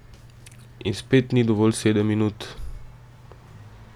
In spet ni dovolj sedem minut.